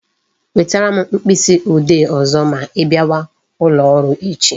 Wetere m mkpịsị ode ọzọ ma I bịawa ụlọ ọrụ echi